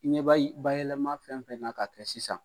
I ɲɛ bɛ bayɛlɛma fɛn o fɛn na ka kɛ sisan